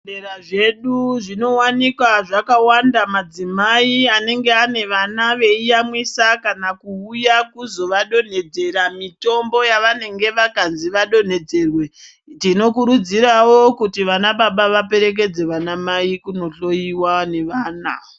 Zvibhedhleya zvedu zvinowanikwa zvakawanda madzimai anenge ane vana veiyamwisa kana kuuya kuzovadonhedzera mitombo yavanenge vakazi vadonhedzerwe tinokurudzirawo kuti vanababa vaperekedze vanamai kunohloyiwa nevana.